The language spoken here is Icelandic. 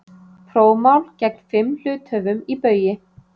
Prófmál gegn fimm hluthöfum í Baugi